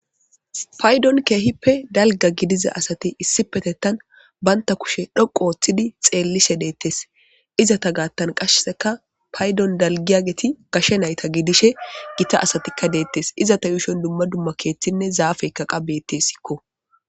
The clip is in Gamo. Paydon keehippe dalga gidiza asati issi petettan banta kushe dhoqo ooththidi xeellishe deettes, izata gaattan qasheseka paydon dalgiyageti kashe nayta gidishe gita asatikka deettes, izata yuushon dumma dumma keeththinne zaafeykka qa bettesikko.